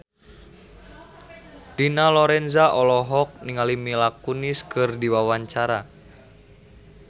Dina Lorenza olohok ningali Mila Kunis keur diwawancara